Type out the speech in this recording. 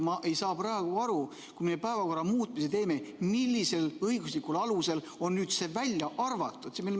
Ma ei saa praegu aru: kui me päevakorra muutmise teeme, siis millisel õiguslikul alusel on nüüd see välja arvatud?